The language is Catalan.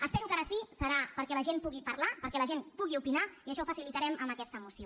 espero que ara sí que serà perquè la gent pugui parlar perquè la gent pugui opinar i això ho facilitarem amb aquesta moció